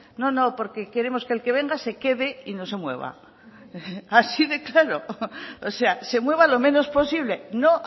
no no porque queremos que el que venga se quede y no se mueva así de claro o sea se mueva lo menos posible no